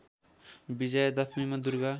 विजया दशमीमा दुर्गा